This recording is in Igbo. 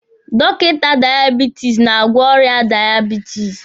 Dọkịta daiebitisi na-agwọ ọrịa daiebitisi.